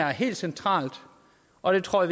er helt centralt og det tror